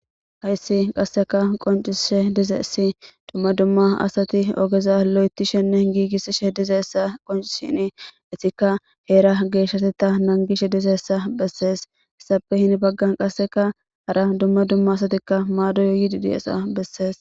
hayssi qasseka qoncishe dizeessi dumma dumma asati ogeza lo7eti shenne giigissi she dizeessa qonci shini isika heera geeshshateta nangishe dizeessa bessees hessape hini baggan qasseka hara dumma dumma asatikka maadoy yiidi diesa bessees